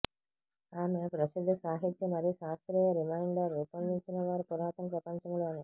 ఆమె ప్రసిద్ధ సాహిత్య మరియు శాస్త్రీయ రిమైండర్ రూపొందించినవారు పురాతన ప్రపంచంలోని